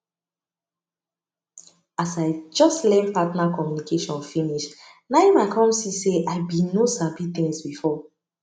as i just learn partner communication finish na em i come see say i been no sabi things before